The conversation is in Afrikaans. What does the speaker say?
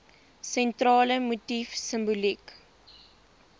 sentrale motief simboliek